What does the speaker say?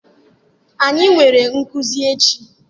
anyi nwere nkuzi echi?